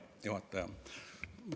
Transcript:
Hea juhataja!